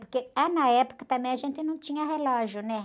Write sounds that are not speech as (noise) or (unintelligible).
Porque (unintelligible) na época também a gente não tinha relógio, né?